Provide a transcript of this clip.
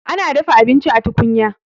ana dafa abinci a tukunya